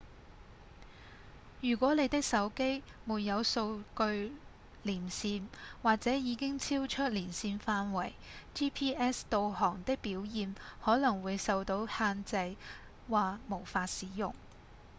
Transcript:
如果你的手機沒有數據連線或者已經超出連線範圍 gps 導航的表現可能會受到限制或無法使用